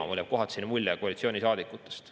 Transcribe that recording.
Mulle jääb kohati selline mulje koalitsioonisaadikutest.